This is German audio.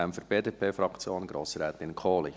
Deshalb, für die BDP-Fraktion, Grossrätin Kohli.